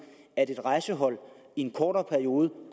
at et rejsehold i en kortere periode